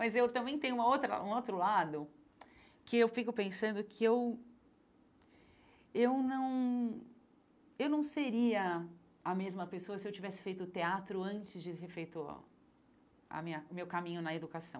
Mas eu também tenho uma outra um outro lado, que eu fico pensando que eu eu não eu não seria a mesma pessoa se eu tivesse feito teatro antes de ter feito o a minha o meu caminho na educação.